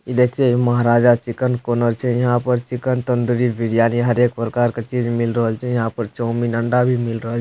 इ देखिए Maharaja chicken corner छै यहाँ पर चिकेन तंदूरी बिरयानी हरेक प्रकार के चीज मील रहल छै यहाँ पर चाऊमीन अंडा भी मिल रहल --